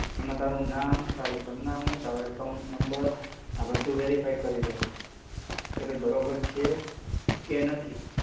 એમાં તારું નામ, ટાર સરનામું, તારો account number, આ બધું verify કરી લેવાનું. કે ભઈ બરોબર છે? કે નથી?